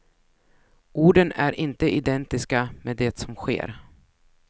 Orden är inte identiska med det som sker.